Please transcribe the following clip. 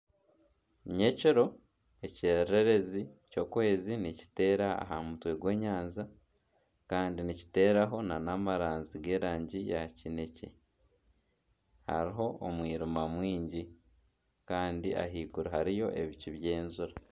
Ni nyekiro ekyererezi ekirikwera nikiteera aha mutwe gw'enyanya kandi nikiteeraho nana amaranzi g'erangi ya kinekye, hariyo omwirima mwingi kandi ahaiguru hariyo ebicu by'enjura.